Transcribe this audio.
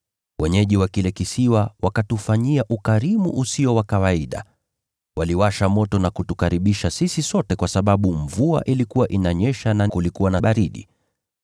Wenyeji wa kile kisiwa wakatufanyia ukarimu usio wa kawaida. Waliwasha moto na kutukaribisha sisi sote kwa sababu mvua ilikuwa inanyesha na kulikuwa na baridi.